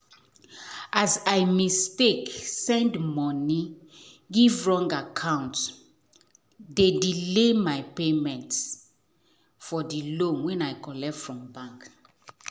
as i mistake send money give wrong acct d delay my payment for the loan when i collect from bank.